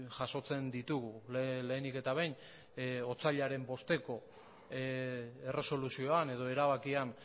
jasotzen ditugu lehenik eta behin otsailaren bosteko erresoluzioan edo erabakian